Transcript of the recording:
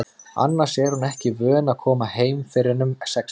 Annars er hún ekki vön að koma heim fyrr en um sexleytið.